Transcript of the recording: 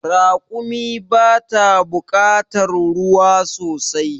Raƙumi bata bukatar ruwa sosai